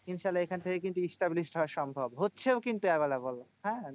ইনশাআল্লা এখন থেকে কিন্তু establish হওয়া সম্ভব। হচ্ছেও কিন্তু available হ্যাঁ?